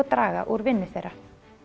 draga úr vinnu þeirra